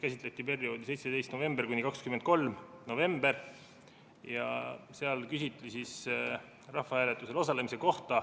Käsitleti perioodi 17. november kuni 23. november ja küsiti rahvahääletusel osalemise kohta.